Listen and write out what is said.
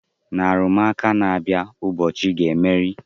Na arụmụka na-abịa, Ugochi ga-emeri.